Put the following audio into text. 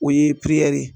O ye ye